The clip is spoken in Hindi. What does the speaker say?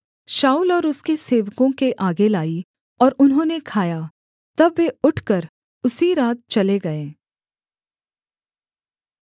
शाऊल और उसके सेवकों के आगे लाई और उन्होंने खाया तब वे उठकर उसी रात चले गए